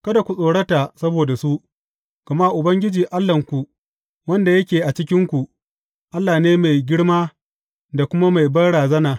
Kada ku tsorata saboda su, gama Ubangiji Allahnku, wanda yake a cikinku, Allah ne mai girma da kuma mai banrazana.